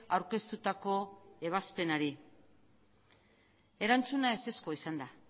aurkeztutako ebazpenari erantzuna ezezkoa izan da